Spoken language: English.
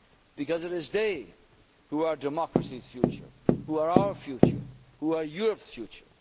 in life. Because it is they who are democracy's future, who are our future and who are